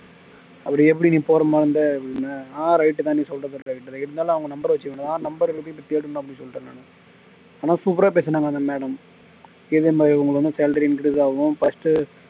அப்படி எப்படி நீ போற மாதிரி இருந்த ஆஹ் right தான் நீ சொல்றது right இருந்தாலும் அவங்க number வச்சுக்கணும் number அ எப்படி தேடணும் அப்படின்னு சொல்லிட்டேன் நானு ஆனா super ஆ பேசினாங்க அந்த madam இதே மாதிரி உங்களுக்கு வந்து salary increase ஆகும் first